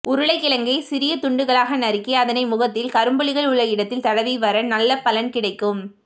உருளைக்கிழங்கை சிறிய துண்டுகளாக நறுக்கி அதனை முகத்தில் கரும்புள்ளிகள் உள்ள இடத்தில் தடவி வர நல்ல பலன் கிடைக்கும்